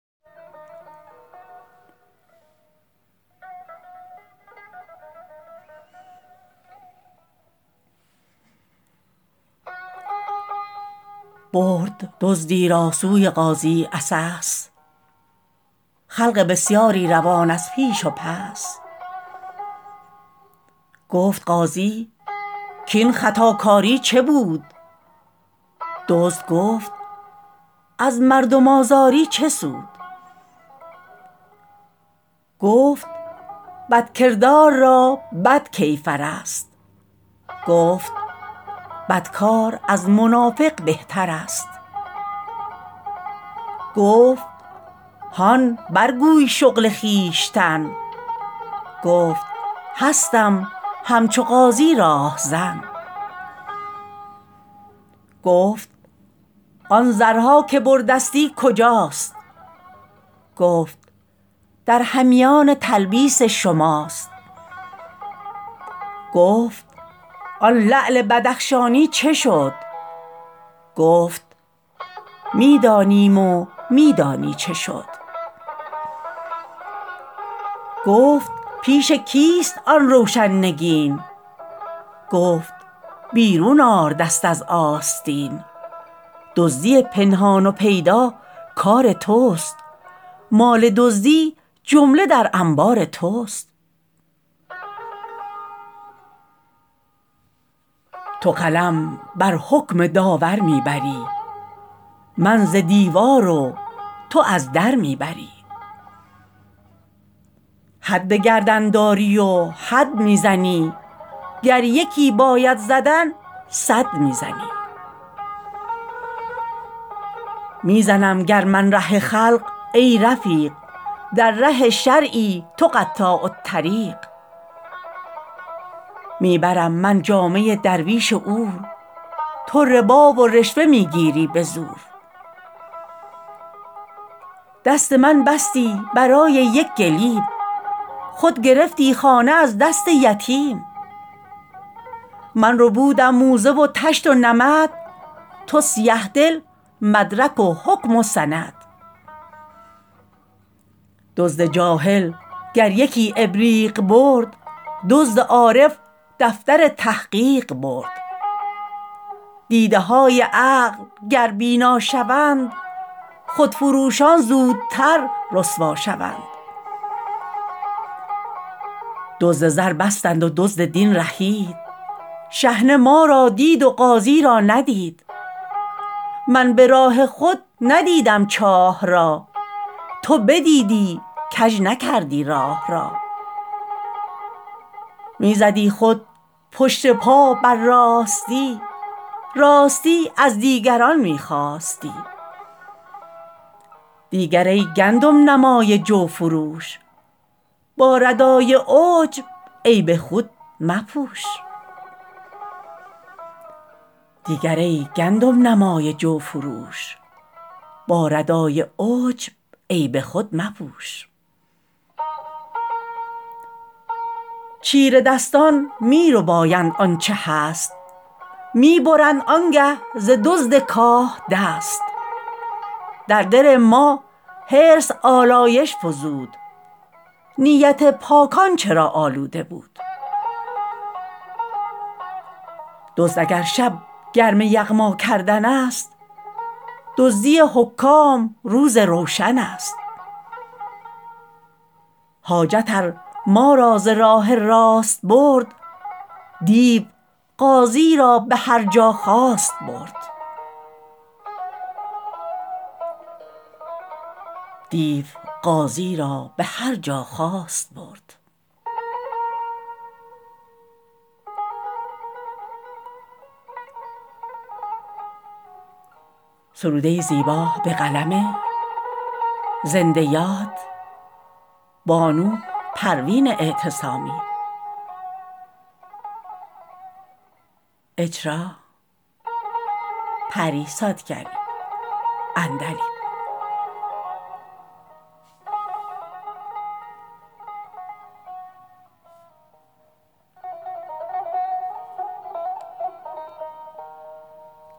برد دزدی را سوی قاضی عسس خلق بسیاری روان از پیش و پس گفت قاضی کاین خطاکاری چه بود دزد گفت از مردم آزاری چه سود گفت بدکردار را بد کیفر است گفت بدکار از منافق بهتر است گفت هان بر گوی شغل خویشتن گفت هستم همچو قاضی راهزن گفت آن زرها که بردستی کجاست گفت در همیان تلبیس شماست گفت آن لعل بدخشانی چه شد گفت می دانیم و می دانی چه شد گفت پیش کیست آن روشن نگین گفت بیرون آر دست از آستین دزدی پنهان و پیدا کار توست مال دزدی جمله در انبار توست تو قلم بر حکم داور می بری من ز دیوار و تو از در می بری حد به گردن داری و حد می زنی گر یکی باید زدن صد می زنی می زنم گر من ره خلق ای رفیق در ره شرعی تو قطاع الطریق می برم من جامه درویش عور تو ربا و رشوه می گیری به زور دست من بستی برای یک گلیم خود گرفتی خانه از دست یتیم من ربودم موزه و طشت و نمد تو سیه دل مدرک و حکم و سند دزد جاهل گر یکی ابریق برد دزد عارف دفتر تحقیق برد دیده های عقل گر بینا شوند خود فروشان زودتر رسوا شوند دزد زر بستند و دزد دین رهید شحنه ما را دید و قاضی را ندید من براه خود ندیدم چاه را تو بدیدی کج نکردی راه را می زدی خود پشت پا بر راستی راستی از دیگران می خواستی دیگر ای گندم نمای جو فروش با ردای عجب عیب خود مپوش چیره دستان می ربایند آنچه هست می برند آنگه ز دزد کاه دست در دل ما حرص آلایش فزود نیت پاکان چرا آلوده بود دزد اگر شب گرم یغما کردن است دزدی حکام روز روشن است حاجت ار ما را ز راه راست برد دیو قاضی را به هرجا خواست برد